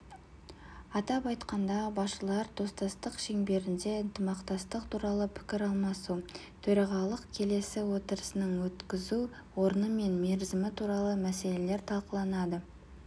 атап айтқанда басшылар достастық шеңберінде ынтымақтастық туралы пікір алмасу төрағалық келесі отырысының өткізу орны мен мерзімі туралы мәселелер талқыланады